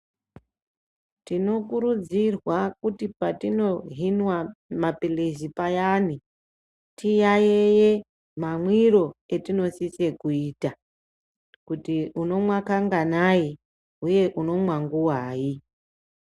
Tino kurudzirwa kuti patino hinwa mapilizi payani ti yayeye ma mwiro etino sise kuita kuti unomwa ka nganai uye unomwa nguvai.